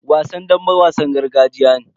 Wasan dambe wasan gargajiya ne.